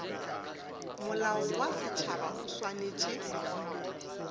molao wa setšhaba o swanetše